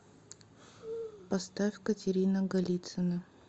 поставь катерина голицына